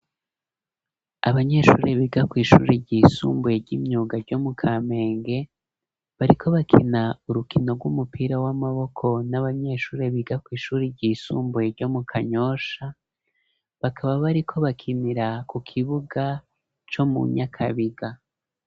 Abanyeshure biga kw'ishure ry'isumbuye ry'imyuga ryo mu kamenge bariko bakina urukino rw'umupira w'amaboko n'abanyeshure biga kw'ishure ry'isumbuye ryo mu kanyosha bakaba bariko bakinira ku kibuga co mu nyakabiga.